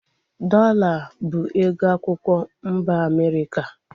Dọola bụ ego akwụkwọ mba Amerịka